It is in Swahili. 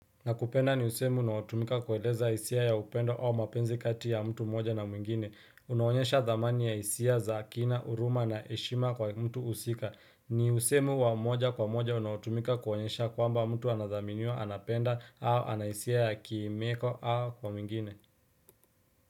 Nakupenda ni usemi unao tumika kueleza hisia ya upendo au mapenzi kati ya mtu moja na mwingine. Unaonyesha thamani ya hisia za kina, huruma na heshima kwa mtu husika. Ni usemi wa moja kwa moja unaotumika kuonyesha kwamba mtu anadhaminiwa anapenda au anahisia ya kiimeko au kwa mwingine.